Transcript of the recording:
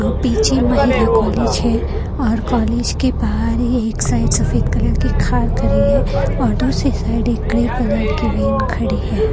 पीछे महिला कॉलेज है और कॉलेज के बाहर ही एक साइड सफेद कलर की कार खड़ी है और दूसरी साइड एक ग्रे कलर की वेन खड़ी है।